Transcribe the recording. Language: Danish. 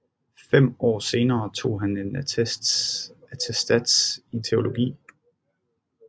Fem år senere tog han en attestats i teologi